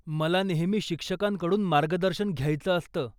मला नेहमी शिक्षकांकडून मार्गदर्शन घ्यायचं असतं.